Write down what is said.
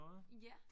Ja